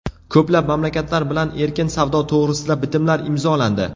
Ko‘plab mamlakatlar bilan erkin savdo to‘g‘risida bitimlar imzolandi.